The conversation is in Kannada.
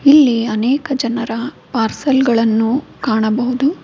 ಇಲ್ಲಿ ಅನೇಕ ಜನರ ಪಾರ್ಸೆಲ್ ಗಳನ್ನು ಕಾಣಬಹುದು.